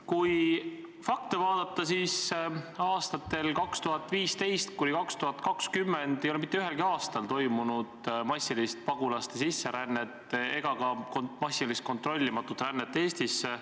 Kui fakte vaadata, siis aastatel 2015–2020 ei ole mitte ühelgi aastal toimunud massilist pagulaste sisserännet ega ka massilist kontrollimatut rännet Eestisse.